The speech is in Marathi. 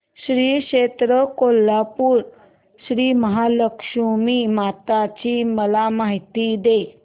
श्री क्षेत्र कोल्हापूर श्रीमहालक्ष्मी माता ची मला माहिती दे